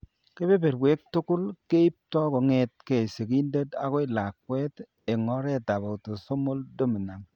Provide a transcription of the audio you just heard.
Kebeberwek tugul keipto kong'etke sigindet akoi lakwet eng' oretab autosomal dominant.